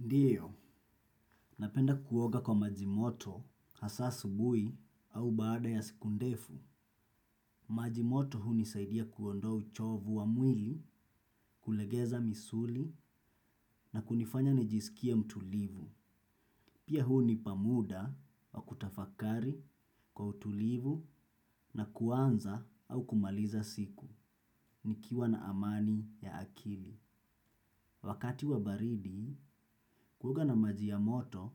Ndio, napenda kuoga kwa maji moto hasa asubuhi au baada ya siku ndefu. Maji moto hunisaidia kuondoa chovu wa mwili, kulegeza misuli na kunifanya nijisikie mtulivu. Pia hunipa muda wa kutafakari kwa utulivu na kuanza au kumaliza siku. Nikiwa na amani ya akili. Wakati wa baridi, kuoga na maji ya moto